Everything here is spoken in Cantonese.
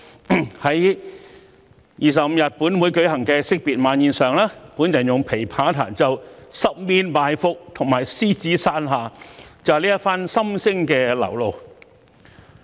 在本月25日本會舉行的惜別晚宴上，我用琵琶彈奏《十面埋伏》和《獅子山下》，就是這番心聲的流露。